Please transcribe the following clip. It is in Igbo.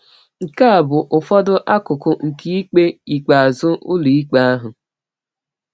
Nke a bụ ụfọdụ akụkụ nke ikpe ikpeazụ Ụlọikpe ahụ: